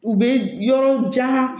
U bɛ yɔrɔ jan